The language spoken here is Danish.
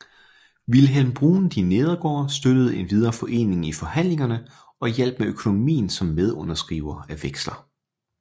Vilhelm Bruun de Neergaard støttede endvidere foreningen i forhandlingerne og hjalp med økonomien som medunderskriver af veksler